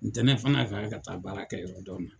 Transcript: Ntɛnɛn fɔ n'a kɛra ka taa baara kɛ yɔrɔ dɔ nin na.